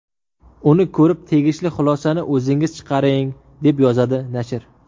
Uni ko‘rib, tegishli xulosani o‘zingiz chiqaring, deb yozadi nashr.